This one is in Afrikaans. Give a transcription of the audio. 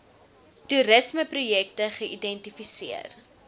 toerisme projekte geidentifiseer